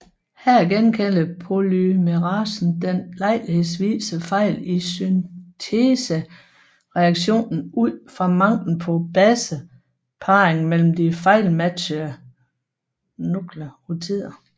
Her genkender polymerasen den lejlighedsvise fejl i syntesereaktionen ud fra manglen på baseparring mellem de fejlmatchede nukleotider